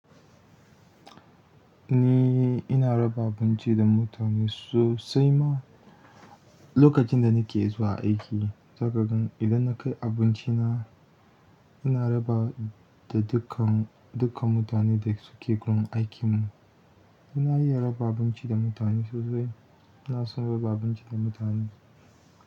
Ni ina raba abunci da mutane sosai ma. Lokacin da nake zuwa aiki, sakagan idan na kai abinci na, ina rabawa da dukkan, dukkan mutane da suke gun aikin mu. Ina iya raba abinci da mutane sosai. Ina son raba abinci da mutane.